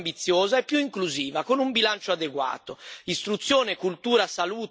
Allora occorre una strategia più ambiziosa e più inclusiva, con un bilancio adeguato.